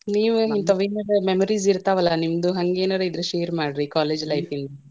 ನೀವು ಇಂತಾವ್ ಏನಾರ memories ಇರ್ತಾವಲ್ಲಾ ನಿಮ್ದು, ಹಂಗೇನಾದ್ರೂ ಇದ್ರೆ share ಮಾಡ್ರಿ college life ದ್ದು.